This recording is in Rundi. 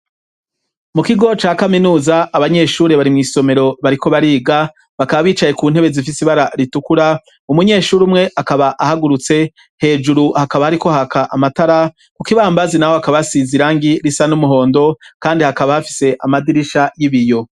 Mu kigo ca kaminuza abanyeshuri bari mw'isomero bariko bariga, bakaba bicaye ku ntebe zifise ibara ritukura. Umunyeshuri umwe akaba ahagurutse. Hejuru hakaba hariko haka amatara. Kukibambazi naho hakaba asize irangi risa n'umuhondo kandi hakaba hafise amadirisha y'ibiyo.